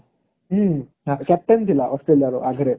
ହୁଁ captain ଥିଲା Australia ର ଆଗରେ